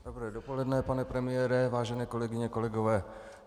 Dobré dopoledne, pane premiére, vážené kolegyně, kolegové.